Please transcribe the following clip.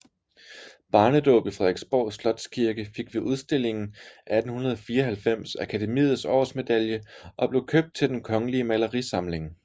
Barnedaab i Frederiksborg Slots Kirke fik ved udstillingen 1894 Akademiets Årsmedalje og blev købt til Den Kongelige Malerisamling